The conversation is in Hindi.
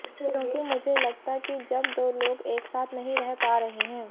क्योंकि मुझे लगता कि जब दो लोग एक साथ नहीं रह पा रहे हैं